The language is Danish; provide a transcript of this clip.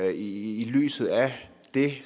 i lyset af at det